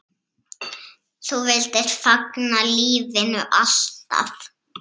Þú vildir fagna lífinu, alltaf.